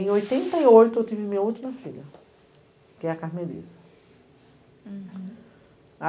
Em oitenta e oito eu tive minha última filha, que é a Carmelisa. Uhum